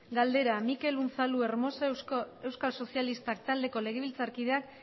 galdera mikel unzalu hermosa euskal sozialistak taldeko legebiltzarkideak